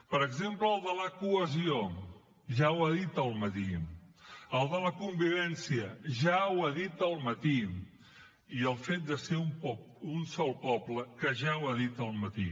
per exemple el de la cohesió ja ho ha dit al matí el de la convivència ja ho ha dit al matí i el fet de ser un sol poble que ja ho ha dit al matí